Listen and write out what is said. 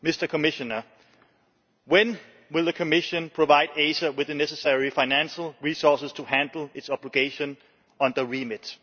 Commissioner, when will the Commission provide ACER with the necessary financial resources to handle its obligation on the remit?